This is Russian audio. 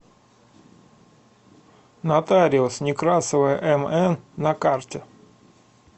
нотариус некрасова мн на карте